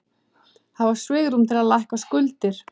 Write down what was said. Hafa svigrúm til að lækka skuldir